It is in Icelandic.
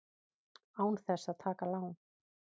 Án þess að taka lán!